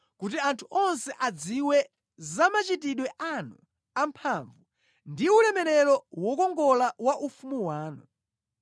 kuti anthu onse adziwe za machitidwe anu amphamvu ndi ulemerero wokongola wa ufumu wanu.